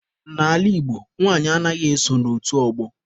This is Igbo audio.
N'ala Igbo, nwanyị anaghị eso n'otu ọgbọ.